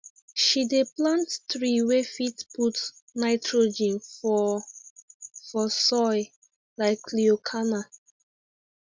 she dey plant tree wey fit put nitrogen for for soil like leucaena